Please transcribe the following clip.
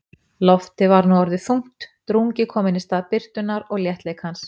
Loftið var nú orðið þungt, drungi kominn í stað birtunnar og léttleikans.